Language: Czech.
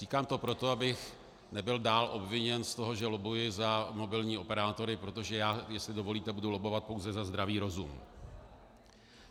Říkám to proto, abych nebyl dál obviněn z toho, že lobbuji za mobilní operátory, protože já, jestli dovolíte, budu lobbovat pouze za zdravý rozum.